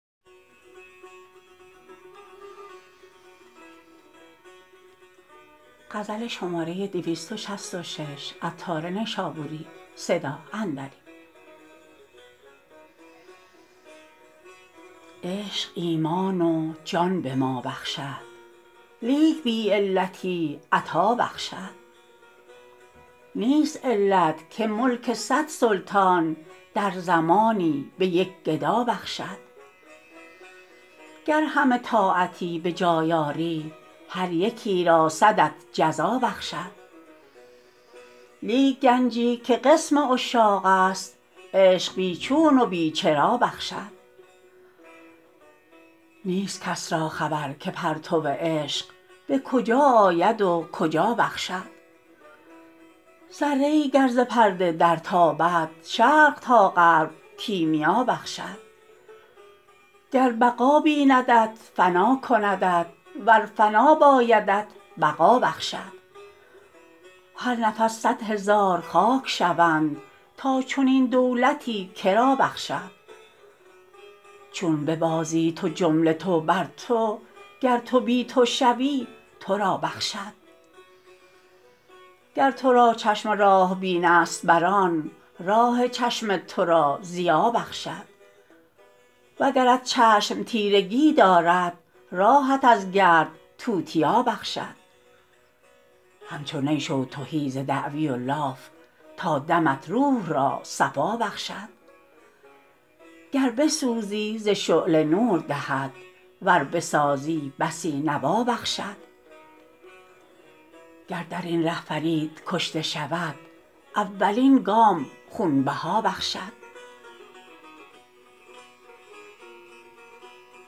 عشقت ایمان و جان به ما بخشد لیک بی علتی عطا بخشد نیست علت که ملک صد سلطان در زمانی به یک گدا بخشد گر همه طاعتی به جای آری هر یکی را صدت جزا بخشد لیک گنجی که قسم عشاق است عشق بی چون و بی چرا بخشد نیست کس را خبر که پرتو عشق به کجا آید و کجا بخشد ذره ای گر ز پرده در تابد شرق تا غرب کیمیا بخشد گر بقا بیندت فنا کندت ور فنا بایدت بقا بخشد هر نفس صد هزار خاک شوند تا چنین دولتی کرا بخشد چون ببازی تو جمله تو بر تو گر تو بی تو شوی تو را بخشد گر تو را چشم راه بین است بران راه چشم تو را ضیا بخشد وگرت چشم تیرگی دارد راهت از گرد توتیا بخشد همچو نی شو تهی ز دعوی و لاف تا دمت روح را صفا بخشد گر بسوزی ز شعله نور دهد ور بسازی بسی نوا بخشد گر درین ره فرید کشته شود اولین گام خونبها بخشد